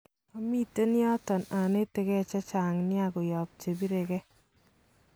Omiten yoton onetege chechang nia koyob chebireke